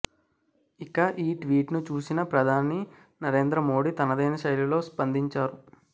ఇక ఈ ట్వీట్ ను చూసిన ప్రధాని నరేంద్ర మోదీ తనదైన శైలిలో స్పందించారు